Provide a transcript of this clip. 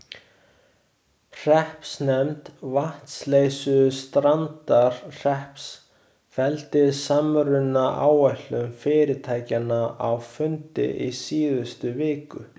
Hreppsnefnd Vatnsleysustrandarhrepps felldi samrunaáætlun fyrirtækjanna á fundi í síðustu viku.